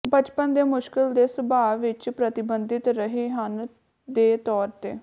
ਬਚਪਨ ਦੇ ਮੁਸ਼ਕਲ ਦੇ ਸੁਭਾਅ ਵਿੱਚ ਪ੍ਰਤੀਬਿੰਬਿਤ ਰਹੇ ਹਨ ਦੇ ਤੌਰ ਤੇ